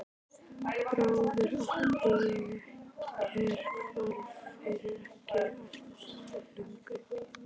Bróður átti ég er hvarf fyrir ekki allt löngu.